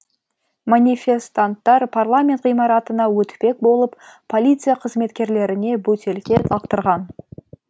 манифестанттар парламент ғимаратына өтпек болып полиция қызметкерлеріне бөтелке лақтырған